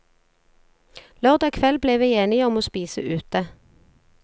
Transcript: Lørdag kveld ble vi enige om å spise ute.